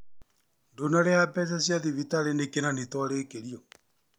Ndũnarĩha mbeca cia thibitarĩ nĩkĩ na nĩ twarĩkĩrio?